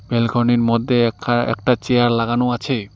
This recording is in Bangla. ব্যালকনি র মধ্যে একখা একটা চেয়ার লাগানো আছে।